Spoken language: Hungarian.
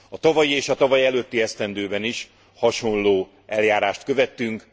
A tavalyi és a tavalyelőtti esztendőben is hasonló eljárást követtünk.